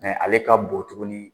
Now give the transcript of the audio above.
Mɛ ale ka bon tuguni